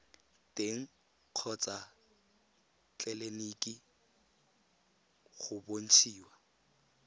teng kgotsa tleleniki go bontshiwa